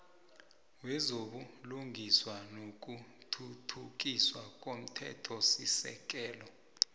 wezobulungiswa nokuthuthukiswa komthethosisekelo